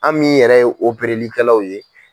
An min yɛrɛ ye opereli kɛlaw ye